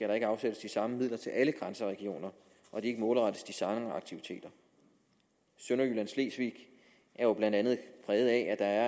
der ikke afsættes de samme midler til alle grænseregioner og de ikke målrettes de samme aktiviteter sønderjylland slesvig er jo blandt andet præget af at